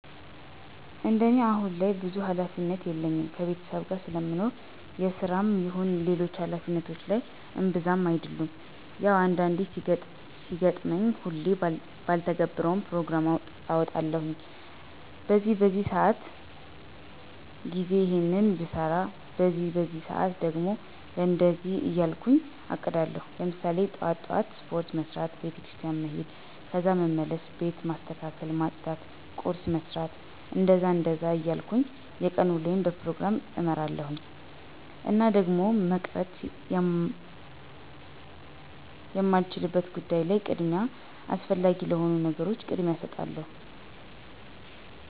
እንደኔ አሁን ላይ ብዙም ሀላፊነት የለኝም ከቤተሰብ ጋር ስለምኖር የስራም ይሁን ሌሎች ሀላፊነቶች ላይ እብዛም አደሉም። ያው አንዳንዴ ሲገጥመኝ ሁሌ ባልተገብረውም ፕሮግራም አወጣለሁኝ በዚህ በዚህ ሰአት ጊዜ ይሔንን ብሰራ በዚህ በዚህ ሰአት ደግሞ ለእንደዚህ እያልኩ አቅዳለሁኝ። ለምሳሌ ጥዋት ጥዋት ስፖርት መስራት፣ ቤተክርስቲያን መሔድ ከዛ መልስ ቤት ማስተካከል ማፅዳት ቁርስ መስራት... እንደዛ እንደዛ እያልኩ የቀን ውሎየን በፕሮግራም እመራለሁኝ። እና ደግሞ መቅረት የማይቻልበት ጉዳይ ላይ ቅድሚያ አስፈላጊ ለሆኑ ነገሮች ቅድሚያ እሰጣለሁኝ።